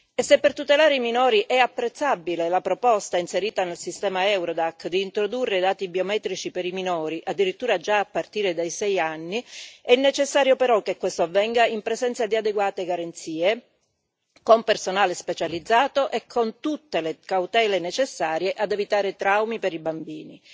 E se, per tutelare i minori, è apprezzabile la proposta inserita nel sistema Eurodac di introdurre i dati biometrici per i minori, addirittura già a partire dai sei anni, è necessario però che questo avvenga in presenza di adeguate garanzie, con personale specializzato e con tutte le cautele necessarie ad evitare traumi per i bambini.